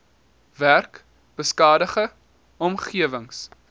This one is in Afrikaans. werk beskadigde omgewings